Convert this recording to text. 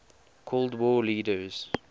cold war leaders